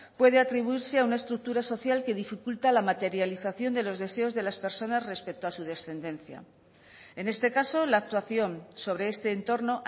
puede atribuirse a una estructura social que dificulta la materialización de los deseos de las personas respecto a su descendencia en este caso la actuación sobre este entorno